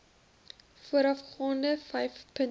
voorafgaande vyf punte